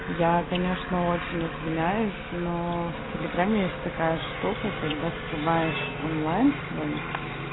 я конечно очень извиняюсь но в телеграме есть такая штука когда скрываешь онлайн свой